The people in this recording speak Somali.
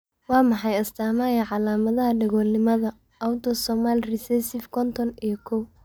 Waa maxay astaamaha iyo calaamadaha Dhagoolnimada, autosomal recessive konton iyo kow?